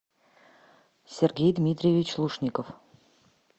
сергей дмитриевич лушников